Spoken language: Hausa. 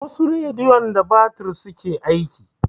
Wasu rediyon da batir suke aiki.